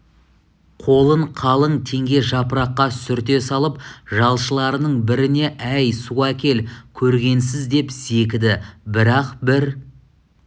қолын қалың теңге жапыраққа сүрте салып жалшыларының біріне әй су әкел көргенсіз деп зекіді бірақ бір